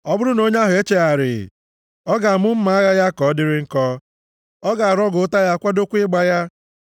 Ọ bụrụ na onye ahụ echegharịghị, ọ ga-amụ mma agha ya ka ọ dịrị nkọ, ọ ga-arọgọ ụta ya, kwadokwa ịgba ya.